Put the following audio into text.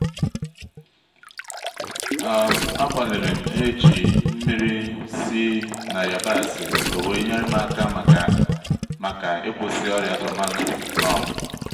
um agbalirim e-ji mmiri si-na yabasị owere yerem-aka maka maka ikwusi ọrịa tomato um